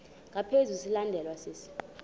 ngaphezu silandelwa sisi